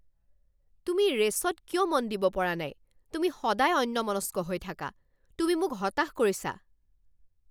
তুমি ৰে'চত কিয় মন দিব পৰা নাই? তুমি সদায় অন্যমনস্ক হৈ থাকা। তুমি মোক হতাশ কৰিছা।